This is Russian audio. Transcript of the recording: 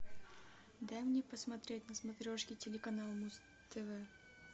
дай мне посмотреть на смотрешке телеканал муз тв